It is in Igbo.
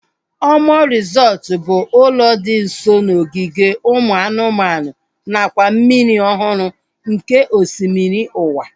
Omu resọtu bụ ụlọ dị nso n'ogige ụmụ anụmanụ nakwa mmiri ọhụrụ nke osimiri ụwa